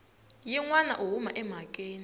yin wana u huma emhakeni